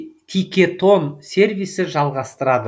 тикетон сервисі жалғастырады